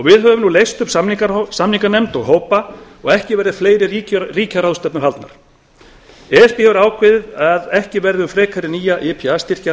við höfum nú leyst upp samninganefnd og hópa og ekki verða fleiri ríkjaráðstefnur haldnar e s b hefur ákveðið að ekki verði um frekari nýja ipa styrki að